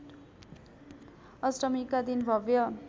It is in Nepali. अष्टमीका दिन भव्य